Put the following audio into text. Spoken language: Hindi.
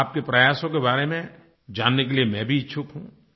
आपके प्रयासों के बारे में जानने के लिए मैं भी इच्छुक हूँ